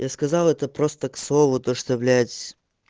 я сказал это просто к слову то что блять